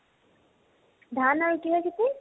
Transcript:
ধান আৰু কিহৰ খেতি ?